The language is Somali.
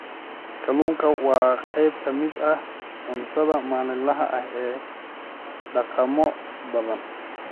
Kalluunku waa qayb ka mid ah cuntada maalinlaha ah ee dhaqamo badan.